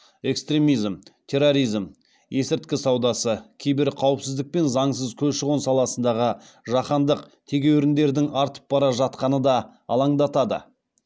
экстремизм терроризм есірткі саудасы киберқауіпсіздік пен заңсыз көші қон саласындағы жаһандық тегеуріндердің артып бара жатқаны да алаңдатады